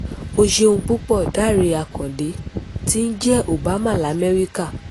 ó ṣeun púpọ̀ dáre akande tí ń jẹ́ obama lamẹ́ríkà